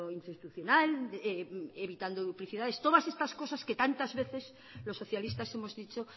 institucional evitando duplicidades todas estas cosas que tantas veces los socialistas hemos dicho